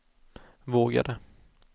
vågade